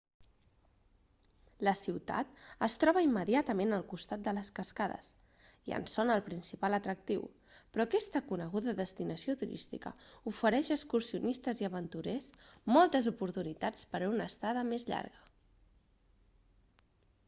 la ciutat es troba immediatament al costat de les cascades i en són el principal atractiu però aquesta coneguda destinació turística ofereix a excursionistes i aventurers moltes oportunitats per a una estada més llarga